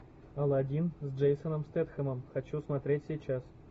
алладин с джейсоном стетхемом хочу смотреть сейчас